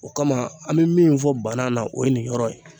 O kama an bɛ min fɔ banna na o ye nin yɔrɔ ye.